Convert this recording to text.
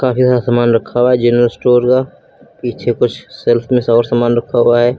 काफी सारा सामान रखा हुआ जनरल स्टोर का पीछे कुछ सेल्फ में और सामान रखा हुआ है।